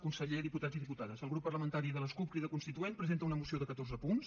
conseller diputats i diputades el grup parlamentari de les cup crida constituent presenta una moció de catorze punts